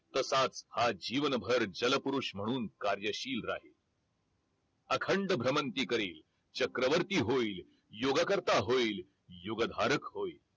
तसाच हा जीवनभर जल पुरुष म्हणून कार्यशील राहील अखंड भ्रमंती करील चक्रवर्ती होईल युगकर्ता होईल युग धारक होईल